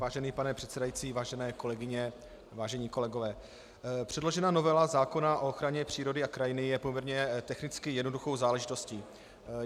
Vážený pane předsedající, vážené kolegyně, vážení kolegové, předložená novela zákona o ochraně přírody a krajiny je poměrně technicky jednoduchou záležitostí.